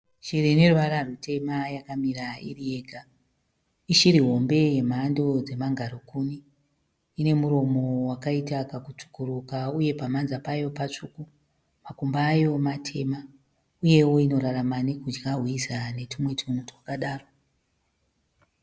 Shiri ine ruvara rutema yakamira iri yega. Ishiri hombe yemhando dzemangarakuni. Ine muromo wakaita kakutsvukuruka uye pamhanza payo patsvuku. Makumbo ayo matema uyewo inorarama nekudya hwiza netumwe tunhu twakadaro.